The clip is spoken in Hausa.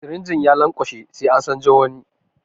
Sirinjin ya lanƙwashe sai an canzo wani.